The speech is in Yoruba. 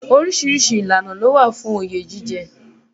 Oríṣiríṣi ìlànà ló wà fún oyè jíjẹ.